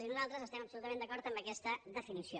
i nosaltres estem absolutament d’acord amb aquesta definició